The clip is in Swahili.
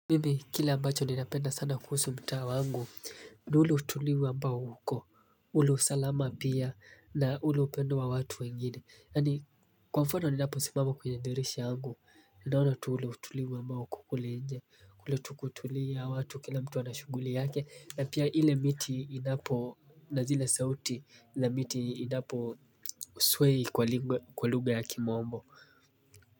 Mimi, kila ambacho ninapenda sana kuhusu mtaa wangu na ule utulivu ambao uko ule usalama pia, na ule upendo wa watu wengine. Yaani, kwa mfano ninapo simama kwenye dirisha yangu naona tu ule utulivu ambao uko kule nje. Kule tu kutulia watu, kila mtu ana shughuli yake, na pia ile miti inapo na zile sauti na miti inapo sway kwa lugha ya kimombo.